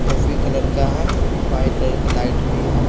Coffee colour का है white colour का लाइट भी है।